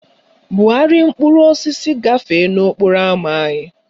Bugharịa mkpụrụ osisi gafee n'okporo ámá anyị!